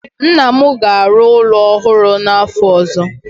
Nna m ga-arụ ụlọ ọhụrụ n'afọ ọzọ.